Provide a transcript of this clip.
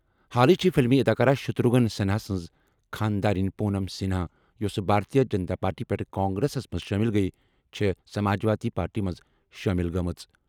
حالٕے چھے٘ فِلمی اداکار شتروگھن سنہا سٕنٛز خانٛدارِنۍ پونم سنہا یوٚسہٕ بھارتیہ جنتا پارٹی پٮ۪ٹھٕ کانگریسس منٛز شٲمِل گٔیہِ، چھےٚ سماجوادی پارٹی منٛز شٲمِل گٔمٕژ۔